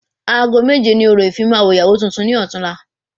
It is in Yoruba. Aago méje ni orò ìfimawo ìyàwó tuntun ni ọtún la